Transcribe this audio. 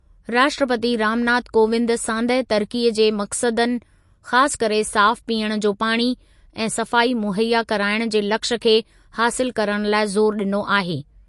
राष्ट्रपती रामनाथ कोविंद सांदहि तरक़ीअ जे मक़सदनि, ख़ासि करे साफ़ पीअणु जो पाणी ऐं सफ़ाई मुहैया कराइण जे लक्ष्यु खे हासिलु करणु लाइ ज़ोरु ॾिनो आहे।